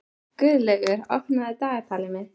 Guðlaugur, opnaðu dagatalið mitt.